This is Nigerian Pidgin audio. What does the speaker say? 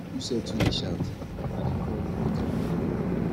you sef too dey shout i dey come make i bring the money